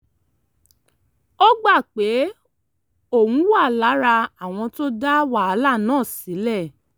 ó gbà pé òun wà lára àwọn tó dá wàhálà náà sílẹ̀